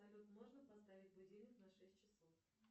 салют можно поставить будильник на шесть часов